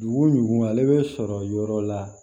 Dugu jugu ale bɛ sɔrɔ yɔrɔ la